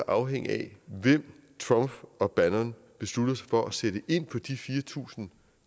afhænge af hvem trumf og bannon beslutter sig for at sætte ind på de fire tusind